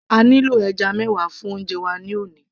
a nílò ẹja mẹwa fún oúnjẹ wa ní òní